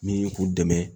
Ni k'u dɛmɛ